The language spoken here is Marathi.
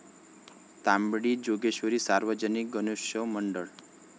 तांबडी जोगेश्वरी सार्वजनिक गणेशोत्सव मंडळ